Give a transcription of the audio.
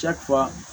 Cɛ fa